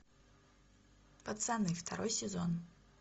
пацаны второй сезон